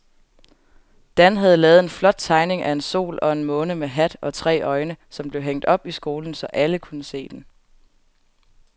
Dan havde lavet en flot tegning af en sol og en måne med hat og tre øjne, som blev hængt op i skolen, så alle kunne se den.